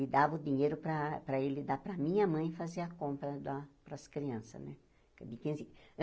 E dava o dinheiro para para ele dar para a minha mãe fazer a compra da das crianças né.